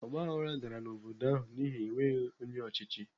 Ọgbaghrara dara n'obodo ahụ n'ihi enweghị onye ọchịchị.